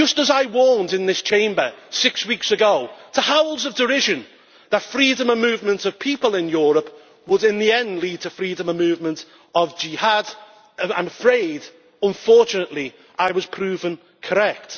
I warned in this Chamber six weeks ago to howls of derision that freedom of movement of people in Europe would, in the end, lead to freedom of movement of jihad, and, unfortunately, I was proved correct.